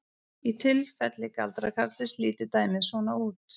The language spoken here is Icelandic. Í tilfelli galdrakarlsins lítur dæmið svona út: